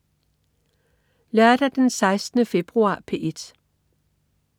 Lørdag den 16. februar - P1: